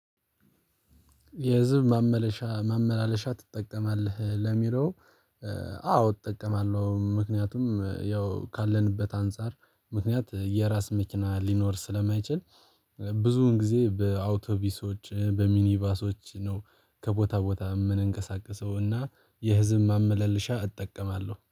የህዝብ ማመላለሻ ማመላለሻ ትጠቀማለህ ለሚለው? አዎ እጠቀማለሁ ምክንያቱም ያው ካለንበት አንፃር ምክንያት የራስ መኪና ሊኖር ስለማይችል። ብዙውን ጊዜ በአውቶቢሶች በሚኒባሶች ነው ከቦታ ቦታ የምንንቀሳቀሰው እና የህዝብ ማመለልሻ እጠቀማለሁ